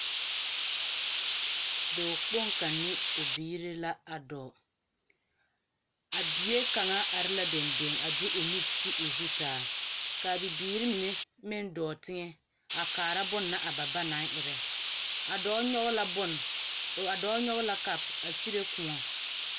Dɔɔ kpoŋ kaŋ ne o biiri na a dɔɔ. Abie kaŋa are la dendeŋ a de o nu a ti o zu taa. Kaa bibiiri mine meŋ dɔɔ teŋɛ a kaara bonna a ba ba naŋ erɛ. A dɔɔ nyɔge la bone, a dɔɔ nyɔge la kapo a kyire kōɔ ennɛ.